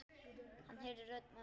Hann heyrði rödd mömmu.